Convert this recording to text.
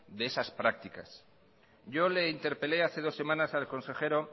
de esas practicas yo le interpelé hace dos semanas al consejero